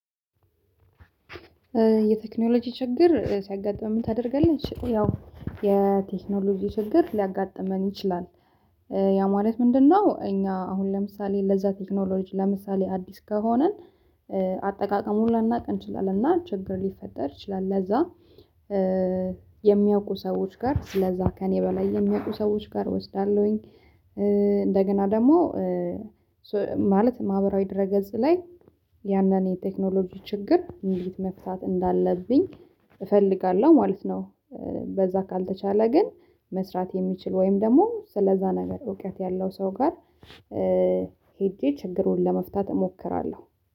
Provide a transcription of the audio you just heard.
የቴክኖሎጂ ችግር ሲያጋጥመን ምን ታደርጋለች? ያው የቴክኖሎጂ ችግር ሊያጋጥመን ይችላል። ያ ማለት ምንድነው? እኛ አሁን ለምሳሌ ለዛ ቴክኖሎጂ ለምሳሌ አዲስ ከሆንን አጠቃቀሙን ላናቅ እንችላለን እና ችግር ሊፈጠር ይችላል። ለዛ የሚያውቁ ሰዎች ጋር ስለዛ ከእኔ በላይ የሚያውቁ ሰዎች ጋር እወስዳለሁኝ። እንደገና ደግሞ ማለት ማህበራዊ ድረ ገጽ ላይ ያንን የቴክኖሎጂ ችግር እንዴት መፍታት እንዳለብኝ እፈልጋለሁ ማለት ነው። በዛ ካልተቻለ ግን መስራት የሚችል ወይም ደግሞ ስለዛ ነገር እውቀት ያለው ሰው ጋር ሄጄ ችግሩን ለመፍታት እሞክራለሁ።